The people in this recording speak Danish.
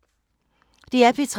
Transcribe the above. DR P3